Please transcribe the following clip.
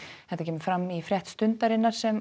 þetta kemur fram í frétt Stundarinnar sem